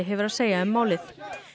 hefur að segja um málið